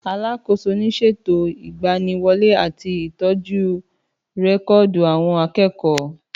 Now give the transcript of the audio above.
Àlàkósò ni sẹtó Ìgbàní wólè àtí Ìtọjú rẹkọdú awon àkẹkọ.